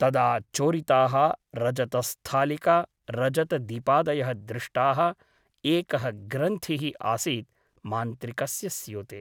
तदा चोरिताः रजतस्थालिका रजतदीपादयः दृष्टाः एकः ग्रन्थिः आसीत् मान्त्रिकस्य स्यूते ।